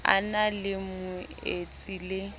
a na le moetsi le